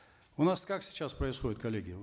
у нас как сейчас происходит коллеги